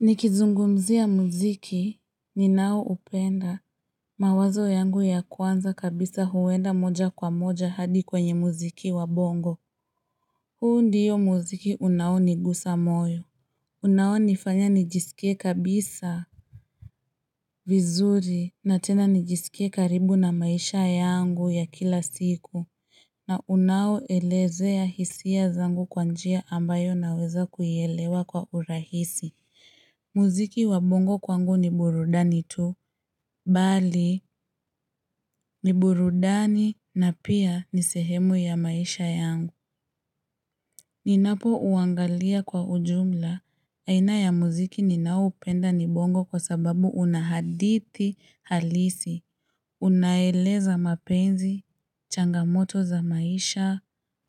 Nikizungumzia muziki, ninao upenda, mawazo yangu ya kwanza kabisa huwenda moja kwa moja hadi kwenye muziki wa bongo. Huu ndiyo muziki unao nigusa moyo. Unao nifanya nijisikie kabisa vizuri, na tena nijisikie karibu na maisha yangu ya kila siku. Na unao elezea hisia zangu kwanjia ambayo naweza kuielewa kwa urahisi. Muziki wa bongo kwangu ni burudani tu, bali ni burudani na pia ni sehemu ya maisha yangu Ninapo uangalia kwa ujumla, aina ya muziki ni nao upenda ni bongo kwa sababu unahadithi halisi Unaeleza mapenzi, changamoto za maisha,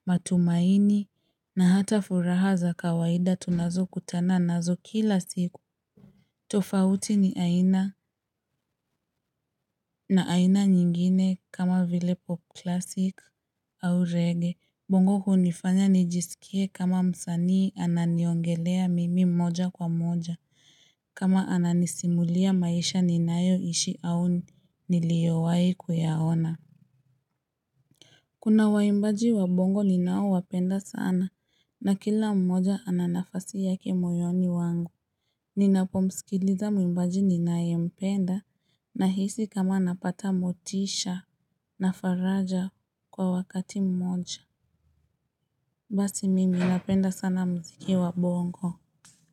matumaini na hata furaha za kawaida tunazo kutana nazo kila siku tofauti ni aina na aina nyingine kama vile pop classic au reggae bongo hunifanya nijisikie kama msanii ananiongelea mimi mmoja kwa moja kama ananisimulia maisha ninayo ishi au niliowai kuyaona Kuna waimbaji wa bongo ninao wapenda sana na kila mmoja ananafasi yake moyoni wangu Ninapo msikiliza mwimbaji ninae mpenda na hisi kama napata motisha na faraja kwa wakati mmoja Basi mimi napenda sana muziki wa bongo.